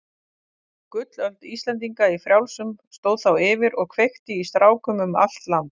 Gullöld Íslendinga í frjálsum stóð þá yfir og kveikti í strákum um allt land.